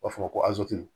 U b'a fɔ ko